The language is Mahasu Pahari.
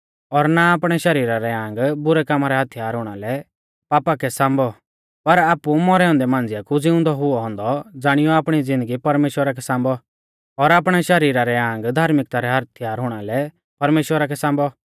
और ना आपणै शरीरा रै आंग बुरै कामा रै हथियार हुणा लै पापा कै सांबौ पर आपु मौरै औन्दै मांझ़िया कु ज़िउंदौ हुऔ औन्दौ ज़ाणियौ आपणी ज़िन्दगी परमेश्‍वरा कै सांबौ और आपणै शरीरा रै आंग धार्मिक्ता रै हथियार हुणा लै परमेश्‍वरा कै सांबौ